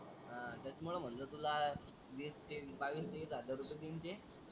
हा त्याच्यामुळे म्हणलं तुला वीस तीस बावीस तेवीस हजार रुपये देईन ते.